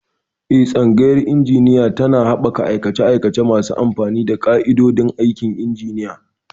Eh, Tsangayar Injiniyanci tana haɓaka aikace-aikace masu amfani na ƙa'idodin aikin injiniya.